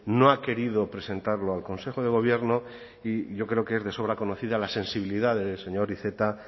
no ha querido presentarlo al consejo de gobierno y yo creo que es de sobra conocida la sensibilidad del señor iceta